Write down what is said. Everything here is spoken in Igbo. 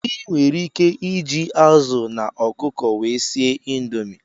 Ị nwere ike iji azụ na ọkụkọ wee sie indomi.